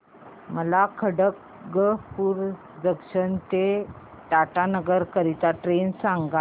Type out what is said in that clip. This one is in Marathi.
मला खडगपुर जंक्शन ते टाटानगर करीता ट्रेन सांगा